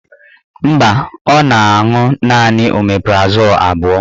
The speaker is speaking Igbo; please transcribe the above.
Mba, ọ na-aṅụ naanị omeprazol abụọ